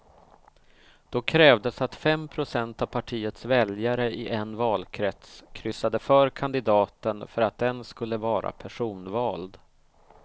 Då krävdes att fem procent av partiets väljare i en valkrets kryssade för kandidaten för att den skulle vara personvald.